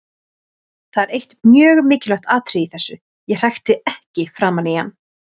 Það er eitt mjög mikilvægt atriði í þessu: Ég hrækti ekki framan í hann.